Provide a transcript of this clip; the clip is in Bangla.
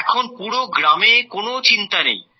এখন পুরো গ্রামে কোনো চিন্তা নেই